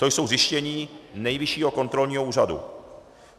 To jsou zjištění Nejvyššího kontrolního úřadu.